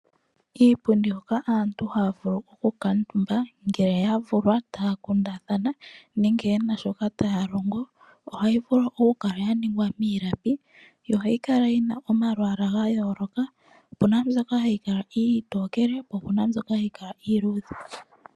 Iipundi mbyoka aantu haya vulu okukuutumba ngele ya vulwa taya kundathana nenge ye na shoka taya longo ohayi vulu okukala ya ningwa miilapi yo ohayi kala yi na omalwaala ga yooloka opu na mbyoka hayi kala iitokele po opu na mbyoka hayi kala iiludhe.